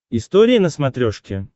история на смотрешке